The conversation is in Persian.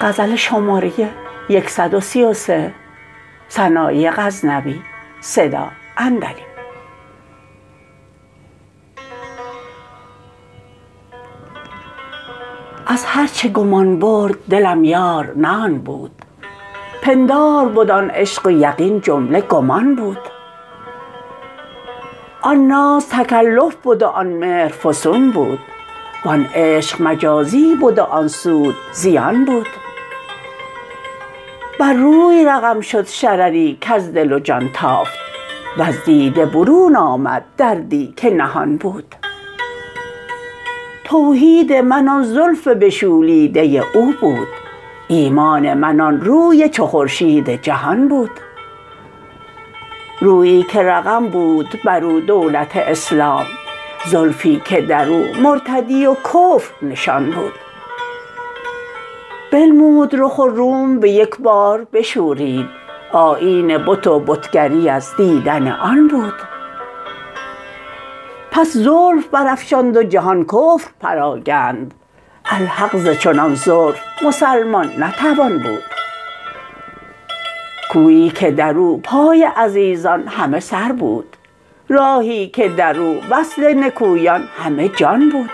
از هر چه گمان برد دلم یار نه آن بود پندار بد آن عشق و یقین جمله گمان بود آن ناز تکلف بد و آن مهر فسون بود وان عشق مجازی بد و آن سود زیان بود بر روی رقم شد شرری کز دل و جان تافت و ز دیده برون آمد دردی که نهان بود توحید من آن زلف بشولیده او بود ایمان من آن روی چو خورشید جهان بود رویی که رقم بود برو دولت اسلام زلفی که درو مرتدی و کفر نشان بود بنمود رخ و روم به یک بار بشورید آیین بت و بتگری از دیدن آن بود پس زلف برافشاند و جهان کفر پراگند الحق ز چنان زلف مسلمان نتوان بود کویی که درو پای عزیزان همه سر بود راهی که دراو وصل نکویان همه جان بود